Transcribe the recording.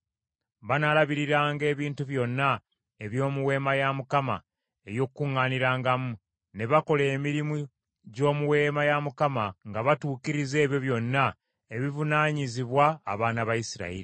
Banaalabiriranga ebintu byonna eby’omu Weema ey’Okukuŋŋaanirangamu, ne bakola emirimu gy’omu Weema ya Mukama nga batuukiriza ebyo byonna ebivunaanyizibwa abaana ba Isirayiri.